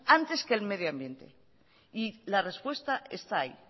antes que el medio ambiente y la respuesta está ahí